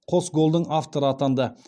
қос голдың авторы атанды